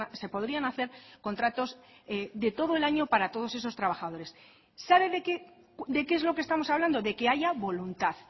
se podrían hacer contratos de todo el año para todos esos trabajadores sabe de qué es lo que estamos hablando de que haya voluntad